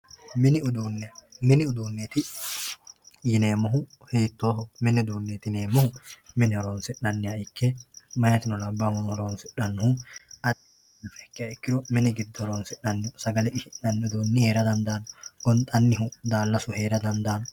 mini uduunneeti yineemmohu hiitooho mini uduunni mine horoonsi'nanniha ikkanna meyatino labahuno horoonsi'nannihu addi addiha ikkiro mini giddo horoonsi'nannihu sagale qishshi'nannihu heera dandaanno gonxannihu daalasu heera dandaanno